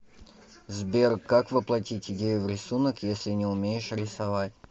сбер как воплотить идею в рисунок если не умеешь рисовать